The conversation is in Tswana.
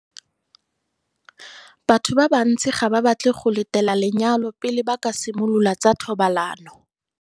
Batho ba bantsi ga ba batle go letela lenyalo pele ba ka simolola tsa thobalano.